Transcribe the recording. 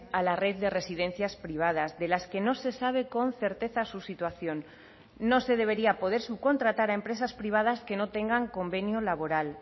a la red de residencias privadas de las que no se sabe con certeza su situación no se debería poder subcontratar a empresas privadas que no tengan convenio laboral